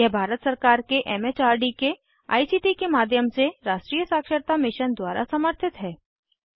यह भारत सरकार के एम एच आर दी के आई सी टी के माध्यम से राष्ट्रीय साक्षरता मिशन द्वारा समर्थित है